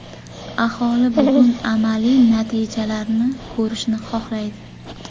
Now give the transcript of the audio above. Aholi bugun amaliy natijalarni ko‘rishni xohlaydi.